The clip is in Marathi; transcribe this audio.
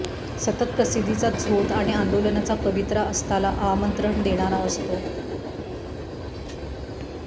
सतत प्रसिद्धीचा झोत आणि आंदोलनाचा पवित्रा अस्ताला आमंत्रण देणारा असतो